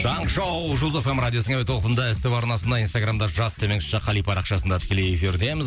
таңғы шоу жұлдыз эф эм радиосының әуе толқынында ств арнасында инстаграмда жас төмен ш қали парақшасында тікелей эфирдеміз